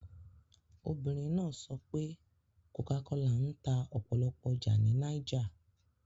Obìnrin náà sọ pé Cocacola ń ta ọ̀pọ̀lọpọ̀ ọjà ní Niger